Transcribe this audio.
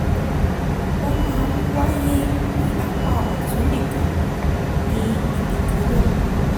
ó máa ń wáyé ní apá ọ̀tún nìkan ní ibi kan náà